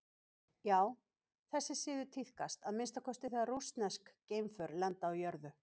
Já, þessi siður tíðkast að minnsta kosti þegar rússnesk geimför lenda á jörðu.